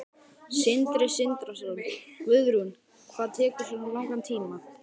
Sindri Sindrason: Guðrún, hvað tekur svona langan tíma?